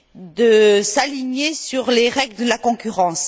de s'aligner sur les règles de la concurrence.